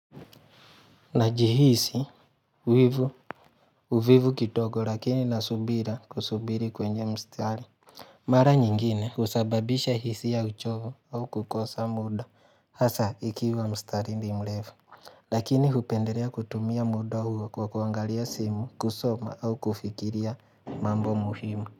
Najihisi uvivu kidogo lakini nasubira kusubiri kwenye mstari. Mara nyingine husababisha hisia ya uchovu au kukosa muda. Hasa ikiwa mstari ni mrefu. Lakini hupendeea kutumia muda huu kwa kuangalia simu, kusoma au kufikiria mambo muhimu.